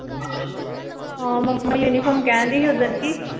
ਹਾਂ mama uniform ਕਹਿਣਡੀ ਸੀ ਓਦਣ ਬਈ